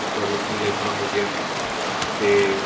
covid ਨਾਲ ਏਦਾ ਹੋ ਗਿਆ ਤੇ